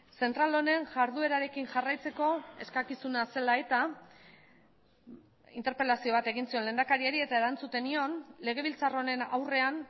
zentral honen jarduerarekin jarraitzeko eskakizuna zela eta interpelazio bat egin zion lehendakariari eta erantzuten nion legebiltzar honen aurrean